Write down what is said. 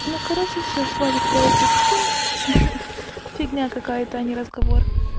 ну короче всё хватит про этот симс ха-ха фигня какая-то а не разговор